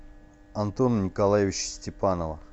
антона николаевича степанова